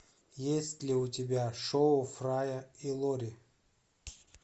есть ли у тебя шоу фрая и лори